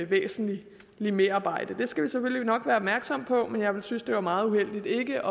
væsentligt merarbejde det skal vi selvfølgelig nok være opmærksom på men jeg ville synes at det var meget uheldigt ikke